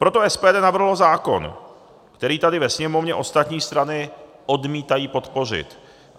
Proto SPD navrhlo zákon, který tady ve Sněmovně ostatní strany odmítají podpořit.